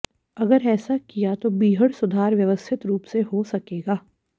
अगर ऐसा किया गया तो बीहड़ सुधार व्यवस्थित रूप से हो सकेगा